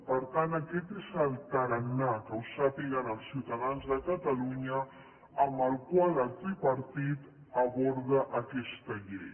per tant aquest és el tarannà que ho sàpiguen els ciutadans de catalunya amb què el tripartit aborda aquesta llei